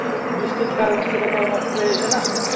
বৃষ্টির কারণে সেটা আবার নষ্ট হয়ে যাচ্ছে না